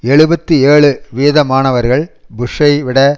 எழுபத்து ஏழு வீதமானவர்கள் புஷ்ஷை விட